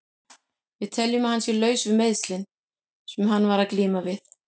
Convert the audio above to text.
Við teljum að hann sé laus við meiðslin sem hann var að glíma við.